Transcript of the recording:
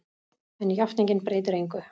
En játningin breytir engu.